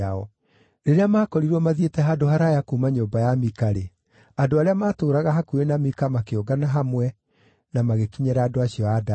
Rĩrĩa maakorirwo mathiĩte handũ haraaya kuuma nyũmba ya Mika-rĩ, andũ arĩa maatũũraga hakuhĩ na Mika makĩũngana hamwe na magĩkinyĩra andũ acio a Dani.